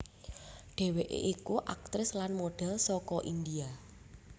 Dheweke iku aktris lan model saka India